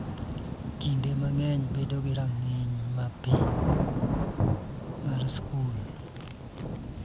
Kinde mang�eny bedo gi rang�iny ma piny mar skul.